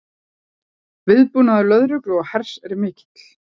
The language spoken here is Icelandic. Viðbúnaður lögreglu og hers er mikill